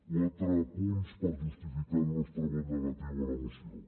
quatre punts per justificar el nostre vot negatiu a la moció